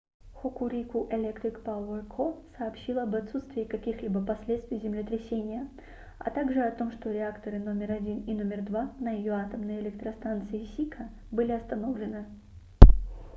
hokuriku electric power co. сообщила об отсутствии каких-либо последствий землетрясения а также о том что реакторы № 1 и № 2 на её атомной электростанции сика были остановлены